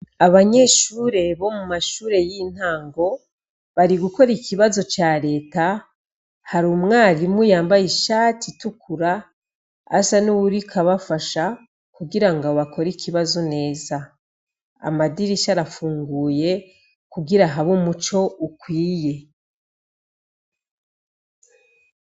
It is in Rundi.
Abanyeshure bo mu mashure y'intango bari gukora ikibazo ca l'eta hari umwarimu yambaye ishati itukura asa n'uwuriko abafasha kugirango bakore ikibazo neza amadirisha arafunguye kugira habe umuco ukwiye.